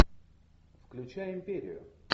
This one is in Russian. включай империю